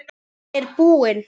Hún er dáin.